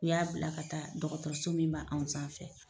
U y'a bila ka taa dɔkɔtɔrɔso min b'anw sanfɛ.